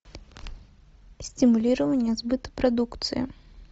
стимулирование сбыта продукции